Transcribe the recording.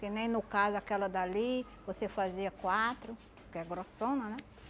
Que nem no caso aquela dali, você fazia quatro, que é grossona, né?